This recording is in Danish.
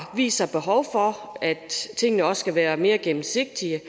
vist sig behov for at tingene også skal være mere gennemsigtige